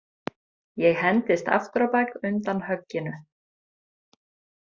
Ég hendist aftur á bak undan högginu.